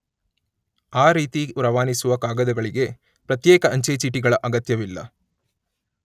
ಆ ರೀತಿ ರವಾನಿಸುವ ಕಾಗದಗಳಿಗೆ ಪ್ರತ್ಯೇಕ ಅಂಚೆ ಚೀಟಿಗಳ ಅಗತ್ಯವಿಲ್ಲ.